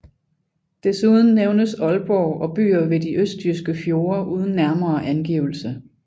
Desuden nævnes Aalborg og byer ved de østjyske fjorde uden nærmere angivelse